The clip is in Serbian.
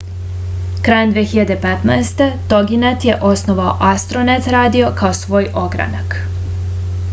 krajem 2015 toginet je osnovao astronet radio kao svoj ogranak